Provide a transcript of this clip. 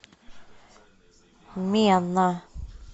мена